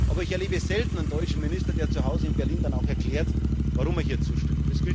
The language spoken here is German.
Aber ich erlebe selten einen deutschen Minister, der zu Hause in Berlin dann auch erklärt, warum er hier zustimmt.